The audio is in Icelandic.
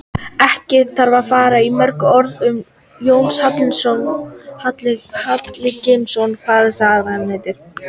Ekki þarf að fara mörgum orðum um Jónas Hallgrímsson og kveðskap hans.